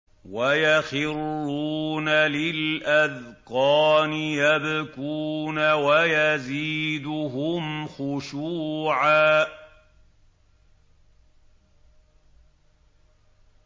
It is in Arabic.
وَيَخِرُّونَ لِلْأَذْقَانِ يَبْكُونَ وَيَزِيدُهُمْ خُشُوعًا ۩